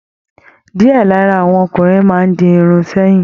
Diẹ lára àwọn ọkùnrin máa n di Irun sẹyìn.